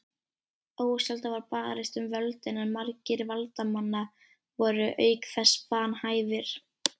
Ósjaldan var barist um völdin en margir valdamanna voru auk þess vanhæfir.